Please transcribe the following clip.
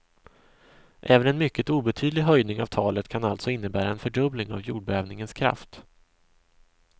Även en mycket obetydlig höjning av talet kan alltså innebära en fördubbling av jordbävningens kraft.